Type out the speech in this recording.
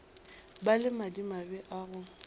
ba le madimabe a go